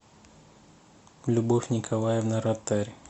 любовь николаевна ротарь